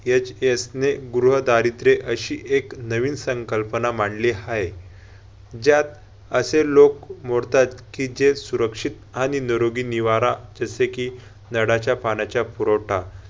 HS ने गृहदारिद्र्य अशी एक नवीन संकल्पना मांडली हाय. ज्यात असे लोक मोडतात कि जे सुरक्षित आणि नरोगी निवारा जसे कि नळाच्या पाण्याचा पुरवठा,